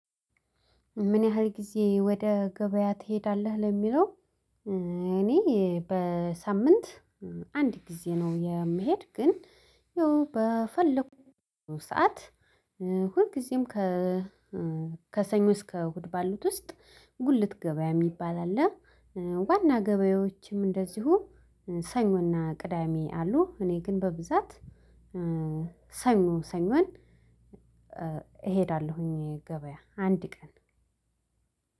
ምን ያህል ጊዜ ወደ ገበያ ትሄዳለህ ለሚለው እኔ በሳምንት አንድ ጊዜ ነው የምሄድ ግን ያው በፈለኩት ሰዓት ሁልጊዜም ከሰኞ እስከ እሁድ ባሉት ውስጥ ጉልት ገበያ የሚባል አለ፤ ዋና ገበያዎችም እንደዚሁ ሰኞና ቅዳሜ አሉ እኔ ግን በብዛት ሰኞ ሰኞን እሄዳለሁኝ ገበያ አንድ ቀን።